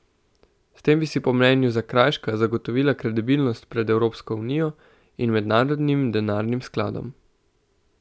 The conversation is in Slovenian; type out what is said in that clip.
S tem bi si po mnenju Zakrajška zagotovila kredibilnost pred Evropsko unijo in mednarodnim denarnim skladom.